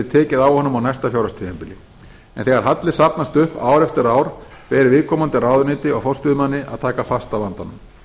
tekið á honum á næsta fjárhagstímabili en þegar halli safnast upp ár eftir ár ber viðkomandi ráðuneyti og forstöðumanni að taka fast á vandanum